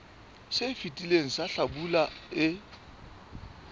se fetileng sa hlabula e